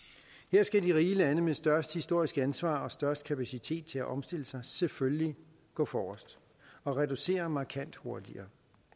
skal de rige lande med størst historisk ansvar og størst kapacitet til at omstille sig selvfølgelig gå forrest og reducere markant hurtigere